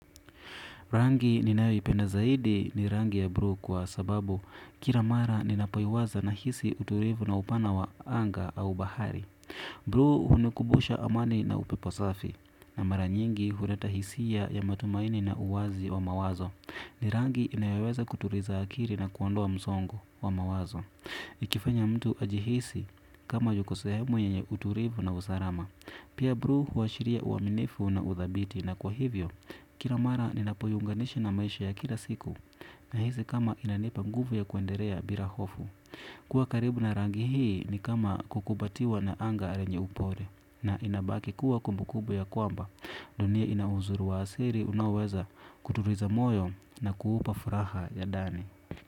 Rangi ni nayoipenda zaidi ni rangi ya blue kwa sababu kila mara ni napoiwaza na hisi utulivu na upana wa anga au bahari. Blue hunikubusha amani na upeposafi na mara nyingi huleta hisia ya matumaini na uwazi wa mawazo. Ni rangi inayoweza kutuliza akili na kuondoa msongo wa mawazo. Ikifanya mtu ajihisi kama yuko sehemu yenye utulivu na usalama. Pia blue huashiria uaminifu na udhabiti na kwa hivyo, kila mara ninapoiunganishi na maisha ya kila siku. Na hisi kama inanipa nguvu ya kuendelea bila hofu. Kuwa karibu na rangi hii ni kama kukubatiwa na anga lenye upole. Na inabaki kuwa kumbu kumbu ya kwamba dunia inauzuri wa asili unaoweza kutuliza moyo na kuupa furaha ya ndani.